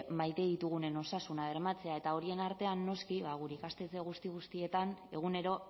maite ditugunen osasuna bermatzea eta horien artean noski gure ikastetxe guzti guztietan egunero